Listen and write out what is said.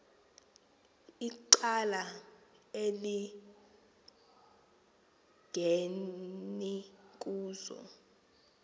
icala elingeni kuzo